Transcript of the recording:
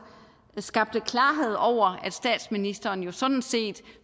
skabte klarhed over at statsministeren jo sådan set